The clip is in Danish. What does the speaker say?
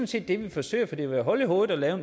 set det vi forsøger for det ville være hul i hovedet at lave